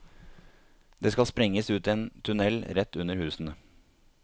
Det skal sprenges ut en tunnel rett under husene.